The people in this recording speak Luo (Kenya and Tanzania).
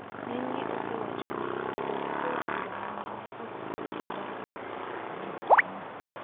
Ngenygi osewaho ni, bedo gi jood bura ma mine, okgol kony mar pogruok teko.